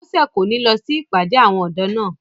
Bọ́sẹ̀ kò ní lọ sí ìpàdé àwọn ọ̀dọ́ náà